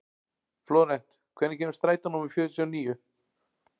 Flórent, hvenær kemur strætó númer fjörutíu og níu?